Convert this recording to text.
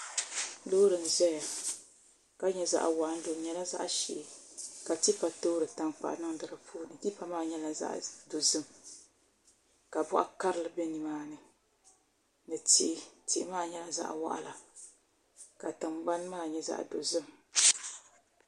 Loori n ʒɛya ka nyɛ zaɣ waɣanli o nyɛla zaɣ ʒiɛ ka tipa toori tankpaɣu niŋdi di puuni tipa maa nyɛla zaɣ dozim ka boɣa karili bɛ nimaani ni tihi tihi maa nyɛla zaɣ waɣala ka tingbani maa nyɛ zaɣ dozim